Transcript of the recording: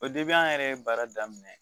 O de bɛ an yɛrɛ ye baara daminɛ